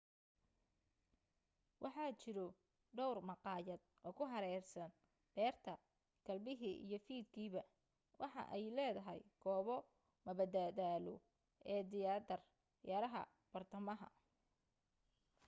waxaa jiro dhowr maqaayad oo ku hareereysan beerta galbihi iyo fiidkiiba waxa ay leedahay goobo mada daalo ee tiyaatar yaraha bartamaha